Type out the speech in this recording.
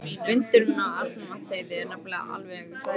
Vindurinn á Arnarvatnsheiði er nefnilega alveg hræðilegur.